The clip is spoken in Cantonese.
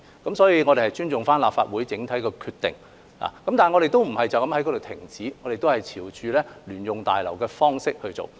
因此，我們尊重立法會整體的決定，但我們並無止步於此，仍朝着興建聯用大樓的方向前進。